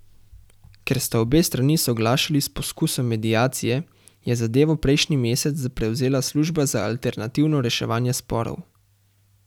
Ker sta obe strani soglašali s poskusom mediacije, je zadevo prejšnji mesec prevzela služba za alternativno reševanje sporov.